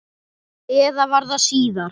Eða var það síðar?